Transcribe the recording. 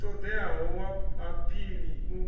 u ṱoḓeaho wa aphili u